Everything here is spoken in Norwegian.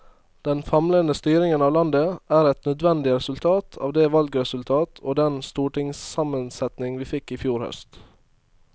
Den famlende styringen av landet er et nødvendig resultat av det valgresultat og den stortingssammensetning vi fikk i fjor høst.